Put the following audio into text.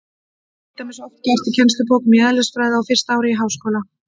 Það er til dæmis oft gert í kennslubókum í eðlisfræði á fyrsta ári í háskóla.